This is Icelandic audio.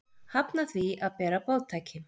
Hafna því að bera boðtæki